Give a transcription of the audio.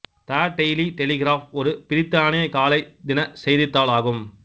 த Daily Telegraph ஒரு பிரித்தானிய காலை தின செய்தித்தாள் ஆகும்